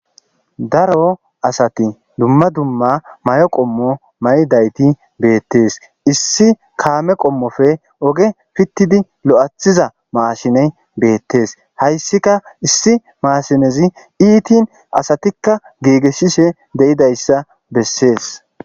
Daro asati duma duma mayo qomo mayidayti detes issi kame qommoppe issi oge pitidi loythiza mashiney betes haysika issi mashinezi ittin asatika gigisishe de'izaysabeses